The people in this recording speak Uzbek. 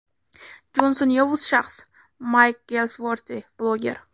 Jonson yovuz shaxs”, – Mayk Gelsvorti, bloger.